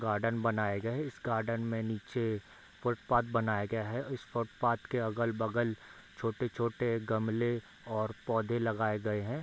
Garden बनाए गए है इस गार्डन में नीचे फुटपाथ बनया गया है इस फूटपाथ के अगल-बगल छोटे-छोटे गमले और पौधे लगाए गए हैं।